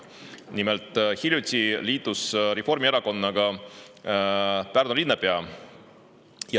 Nimelt, hiljuti liitus Reformierakonnaga Pärnu linnapea.